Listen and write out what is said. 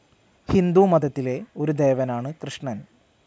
ഹിന്ദുമതത്തിലെ ഒരു ദേവനാണ് കൃഷ്ണൻ.